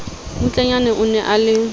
mmutlanyana o ne a le